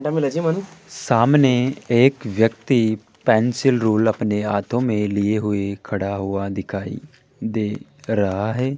एक व्यक्ति pencil rule अपने हाथों में लिए हुए खड़ा हुआ दिखाई दे रहा है।